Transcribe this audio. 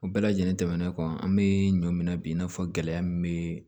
O bɛɛ lajɛlen tɛmɛnen kɔ an bɛ ɲɔ minɛ bi i n'a fɔ gɛlɛya min bɛ